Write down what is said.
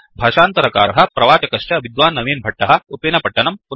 भाषान्तरकारः प्रवाचकश्च विद्वान् नवीन् भट्टः उप्पिनपट्टनम्